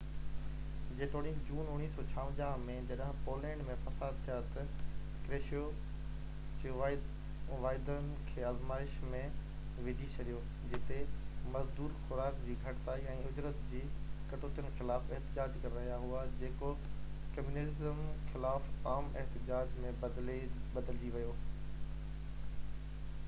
جيتوڻيڪ جون 1956 ۾ جڏهن پولينڊ ۾ فساد ٿيا ته ڪروشيو جي واعدن کي آزمائش ۾ وجهي ڇڏيو جتي مزدور خوراڪ جي گهٽتائي ۽ اُجرت جي ڪٽوتين خلاف احتجاج ڪري رهيا هئا جيڪو ڪميونيزم خلاف عام احتجاج ۾ بدلجي ويو